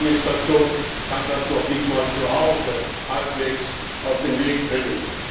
Die US Administration kann das noch nicht einmal zu Hause halbwegs auf den Weg bringen.